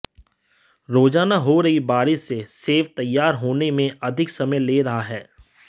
रोजाना हो रही बारिश से सेब तैयार होने में अधिक समय ले रहा है